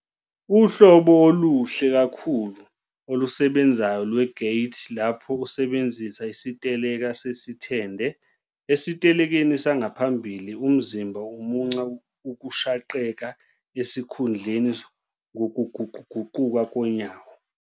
uhlobo oluhle kakhulu, olusebenzayo lwe-gait lapho usebenzisa isiteleka sesithende, esitelekeni sangaphambili, umzimba umunca ukushaqeka esikhundleni ngokuguquguquka konyawo.